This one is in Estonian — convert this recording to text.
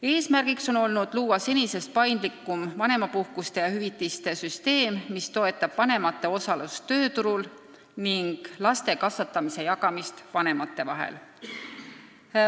Eesmärk on olnud luua senisest paindlikum vanemapuhkuse ja -hüvitise süsteem, mis toetab vanemate osalust tööturul ning laste kasvatamise jagamist vanemate vahel.